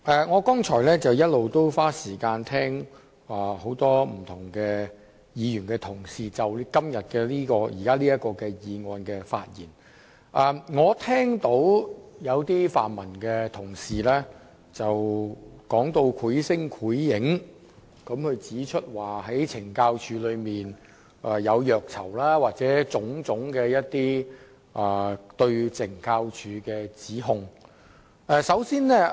我剛才花時間聽了多位議員就今天這項議案的發言，發現有些泛民同事說得繪聲繪影，指懲教署內有虐囚情況，又或提出其他種種對懲教署的指控。